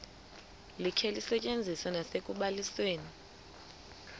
likhe lisetyenziswe nasekubalisweni